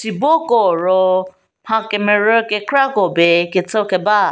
sibo koo ro mha kemerü kekrako pie ketso keba.